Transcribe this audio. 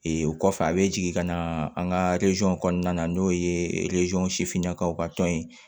o kɔfɛ a bɛ jigin ka na an ka kɔnɔna na n'o ye sifinnakaw ka tɔn ye